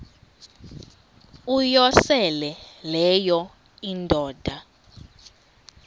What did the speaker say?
uyosele leyo indoda